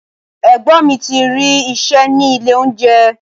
Ẹ̀gbọ́n mi ti rí iṣẹ́ ní ilé oúnjẹ.